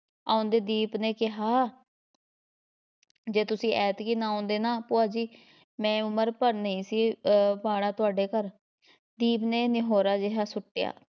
ਆਉਂਦੇ ਦੀਪ ਨੇ ਕਿਹਾ ਜੇ ਤੁਸੀਂ ਐਤਕੀ ਨਾ ਆਉਂਦੇ ਨਾ ਭੁਆ ਜੀ ਮੈਂ ਉਮਰ ਭਰ ਨਹੀਂ ਸੀ ਅਹ ਤੁਹਾਡੇ ਘਰ, ਦੀਪ ਨੇ ਨਿਹੋਰਾ ਜਿਹਾ ਸੁੱਟਿਆ।